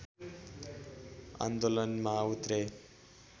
आन्दोलनमा उत्रे